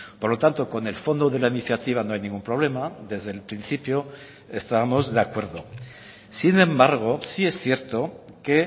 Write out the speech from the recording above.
por lo tanto con el fondo de la iniciativa no hay ningún problema desde el principio estábamos de acuerdo sin embargo sí es cierto que